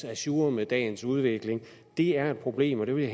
ajour med dagens udvikling det er et problem og det vil